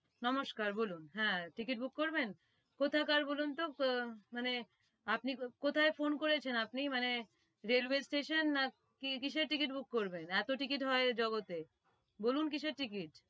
নমষ্কার বলুন হ্যাঁ ticket book করবেন কোথাকার বলুনতো মানে আহ মানে আপনি কোথায় phone করেছেন আপনি মানে railway station নাকি কিসের ticket book করবেন? এতো ticket হয় এ জগতে বলুন কিসের ticket